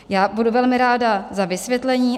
Já budu velmi ráda za vysvětlení.